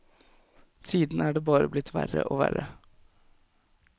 Siden er det bare blitt verre og verre.